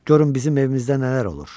Görün bizim evimizdə nələr olur.